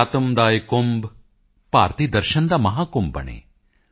ਅਧਿਆਤਮ ਕਾ ਯਹ ਕੁੰਭ ਭਾਰਤੀਯ ਦਰਸ਼ਨ ਕਾ ਮਹਾਕੁੰਭ ਬਨੇ